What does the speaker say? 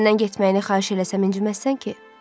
Səndən getməyini xahiş eləsəm inciməzsən ki?